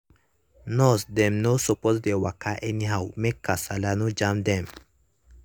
nurse dem no suppose dey waka anyhow make kasala no jam dem.